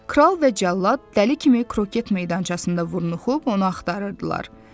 Kral və cəllad dəli kimi kroket meydançasında vurnuxub onu axtarırdılar.